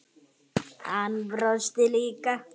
Hann brosti líka.